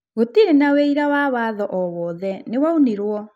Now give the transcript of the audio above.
Gũtirĩ na ũira wa watho owothe nĩwaunirwo.